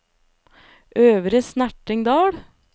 Øvre Snertingdal